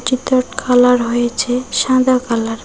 যেটার কালার হয়েছে সাদা কালার ।